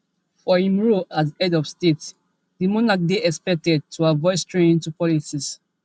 for im role as head of state di monarch dey expected to avoid straying into politics